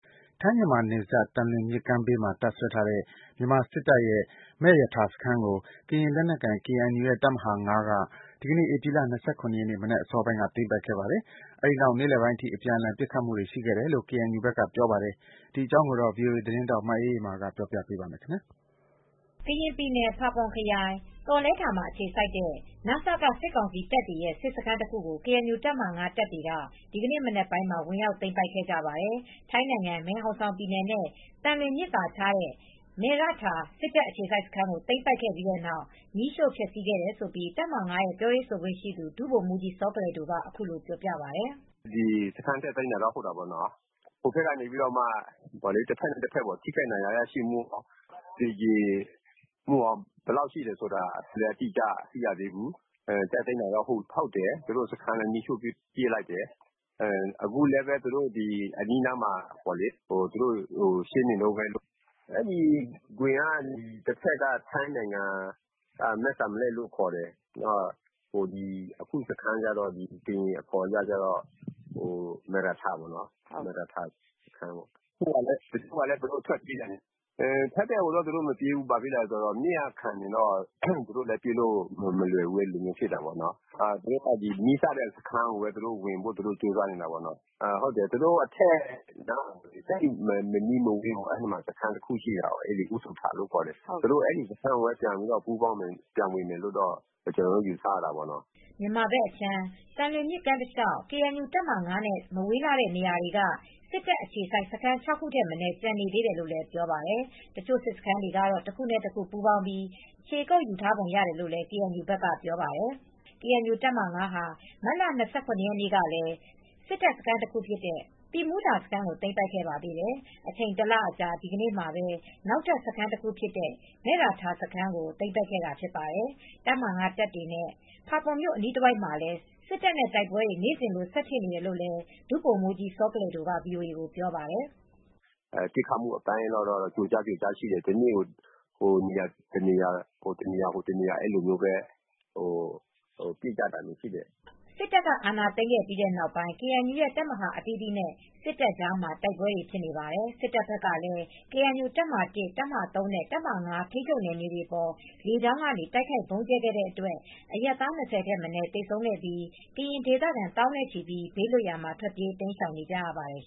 ထိုင်း မြန်မာနယ်စပ် သံလွင်မြစ်ကမ်းဘေးမှာ တပ်စွဲထားတဲ့ မြန်မာစစ်တပ်ရဲ့ မယ့်ရထာစခန်းကို ကရင်လက်နက်ကိုင် KNU ရဲ့ တပ်မဟာ ၅ က ဒီနေ့ ဧပြီလ ၂၇ ရက် မနက်အစောပိုင်းက သိမ်းပိုက်ခဲ့ပါတယ်။ အဲဒီနောက် နေ့လယ်ပိုင်းအထိ အပြန်အလှန် ပစ်ခတ်မှုတွေ ရှိခဲ့တယ်လို့ အပစ်အခတ်တွေရှိ ကေအန်ယူဘက်ကပြောပါတယ်။ ဒီသတင်းကို ဗွီအိုအေ သတင်းထောက်မအေးအေးမာက တင်ဆက်ပေးပါမယ်။ ကရင်ပြည်နယ် ဖာပွန်ခရိုင် သောလဲထာမှာ အခြေစိုက်ထားတဲ့ န.စ.က စစ်ကောင်စီတပ်တွေရဲ့ စစ်စခန်းတခုကို ကေအန်ယူတပ်ဟာ ၅ တပ်တွေက ဒီနေ့ မနက်ပိုင်းက ဝင်ရောက်သိမ်းပိုက်ခဲ့ကြပါတယ်။ ထိုင်းနိုင်ငံ မယ်ဟောင်ဆောင်ပြည်နယ်နဲ့ သံလွင်မြစ်သာခြားတဲ့ မယ်ရထာ စစ်တပ်အခြေစိုက်စခန်းကို သိမ်းပိုက်ခဲ့ပြီးနောက် မီးရှို့ဖျက်စီးခဲ့တယ်လို့ တပ်မဟာ ၅ ပြောရေးဆိုခွင့်ရှိသူ ဒုဗိုလ်မူးကြီး စောကလယ်ဒိုက အခုလိုပြောပြပါတယ်။ "တက်သိမ်းတာတော့ ဟုတ်တာပေါ့နော်။ တဘက်နဲ့ တဘက်ဟိုဘက်က ထိခိုက်ဒဏ်ရာရရှိမှု သေကြေမှု ဘယ်လောက်ထိရှိလဲဆိုတာ မသိရသေးဘူူး။ တက်သိမ်းတာ ဟုတ်တယ်။ စခန်းလည်း မီးရှိှု့ပစ်လိုက်တယ်။ အခုလည်း အနီးအနားမှာ ရှင်းနေတုန်းပဲ။ အဲဒီဂွင်က တဘက်က မဲ့စံလက်ကိုလို့ခေါ်တယ်။ တဘက်ကတော့ ကရင်အခေါ်ကတော့ မယ့်ရထာစခန်းလို့ခေါ်တယ်။ ထိုင်းဘက်ကိုတော့ သူတို့မပြေးဘူး။ မြစ်ကခံနေလို့ ပြေးဖို့အတွက် မလွယ်ဘူးဖြစ်နေတယ်။ သူတို့က နီးစပ်ရာစခန်းကိုပဲ ဝင်ဖို့ ကြိုးစားနေတယ်။ သူတို့အထက်မနီးမဝေးမှာ စခန်းတခု ရှိတာပေါ့နော်။ အူးသူထလို့ ခေါ်တယ်။ အဲဒီစခန်းကို ဝင်မယ်လို့ ကျနော်တို့က ယူဆရတာပေါ့နော်။" မြန်မာဘက်အခြမ်း သံလွင်မြစ်ကမ်းတလေ ျှာက် ကေအန်ယူတပ်မဟာ ၅ နဲ့ မဝေးလှတဲ့နေရာတွေမှ စစ်တပ်အခြေစိုက် စခန်း ၆ ခုထက် မနည်းကျန်သေးတယ်လို့လည်း ပြောပါတယ်။ တချို့ စစ်စခန်းတွေ တခုနဲ့တခု ပူးပေါင်းပြီး ခြေကုပ်ယူထားပုံရတယ်လို့ KNU ဘက်ကပြောပါတယ်။ ကေအန်ယူတပ်မဟာ ၅ ဟာ မတ်လ ၂၇ ရက်နေ့ကလည်း စစ်တပ်စခန်းတခုဖြစ်တဲ့ သီးမူးထာစခန်းကို သိမ်းပိုက်ခဲ့ပါသေးတယ်။ အချိန် ၁ လအကြာ ဒီနေ့မှာ နောက်ထပ် စခန်းတခုဖြစ်တဲ့ မယ်ရထာစခန်းကို သိမ်းပိုက်တာဖြစ်ပါတယ်။ တပ်မဟာ ၅ တပ်တွေနဲ့ ဖာပွန်မြို့ အနီးတဝိုက်မှာလည်း စစ်တပ်နဲ့ တိုက်ပွဲတွေ နေ့စဉ်လို ဆက်ဖြစ်နေတယ်လို့ ဒုဗိုလ်မူးကြီး စောကလယ်ဒိုက ဗွီအိုအေကို ပြောပါတယ်။ "ပစ်ခတ်မှုအပိုင်းကတော့ ကျိုကြား၊ ကျိုကြားရှိတယ်။ တနေ့ကို ဟိုတနေရာ ဒီနေရာတော့ ပစ်ကြတာရှိတယ်။" စစ်တပ်က အာဏာသိမ်းခဲ့ပြီးနောက်ပိုင်း KNU ရဲ့ တပ်မဟာ အသီသီးနဲ့ စစ်တပ်ကြားမှာ တိုက်ပွဲတွေ ဖြစ်နေပါတယ်။ စစ်တပ်ဘက်ကလည်း ကေအန်ယူတပ်မဟာ ၁၊ တပ်မဟာ ၃ နဲ့ တပ်မဟာ ၅ ထိန်းချုပ်နယ်မြေတွေအပေါ် လေကြောင်းကနေ တိုက်ခိုက် ဗုံးကြဲခဲ့တဲ့အတွက် အရပ်သား ၂၀ ထက်မနည်း သေဆုံးခဲ့ပြီး ကရင်ဒေသခံ သောင်းနဲ့ချီ ဘေးလွတ်ရာမှာ ထွက်ပြေးတိမ်းရှောင်နေကြရပါတယ်